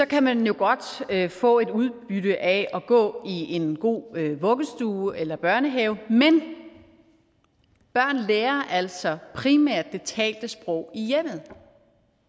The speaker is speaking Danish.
kan man jo godt få et udbytte af at gå i en god vuggestue eller børnehave men børnene lærer altså primært det talte sprog i hjemmet